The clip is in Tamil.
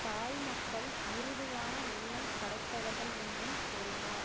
தாய் மக்கள் மிருதுவான உள்ளம் படைத்தவர்கள் என்றும் கூறினர்